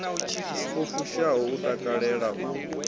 i fushaho u takalela u